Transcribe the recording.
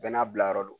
Bɛɛ n'a bilayɔrɔ do